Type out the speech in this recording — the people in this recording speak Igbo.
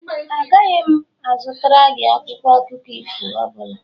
Agaghị m azụtara gị akwụkwọ akụkọ ifo ọ bụla